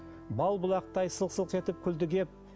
бал бұлақтай сылқ сылқ етіп күлді кеп